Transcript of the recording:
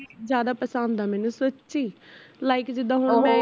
ਜਿਆਦਾ ਪਸੰਦ ਐ ਮੇਨੂ ਸੱਚੀ like ਜਿੱਦਾ ਹੁਣ ਮੈਂ